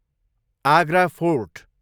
Agra fort